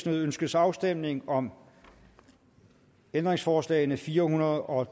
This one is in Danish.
ønskes afstemning om ændringsforslag nummer fire hundrede og